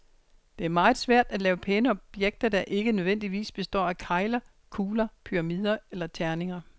Det er meget svært at lave pæne objekter, der ikke nødvendigvis består af kegler, kugler, pyramider eller terninger.